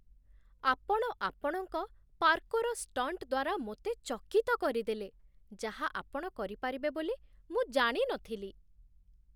ଆପଣ ଆପଣଙ୍କ parkour stunt ଦ୍ୱାରା ମୋତେ ଚକିତ କରିଦେଲେ, ଯାହା ଆପଣ କରିପାରିବେ ବୋଲି ମୁଁ ଜାଣି ନଥିଲି।